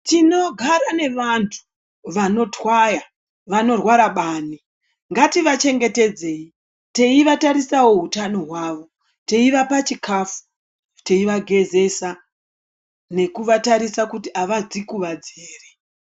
Tinogara nevantu vanotwaya vanorwara bani, ngativachengetedzei teivatarisawo hutano hwavo, yeivapa chikafu, teivagezesa nekuvatarisa kuti avadzikuwadzi ere.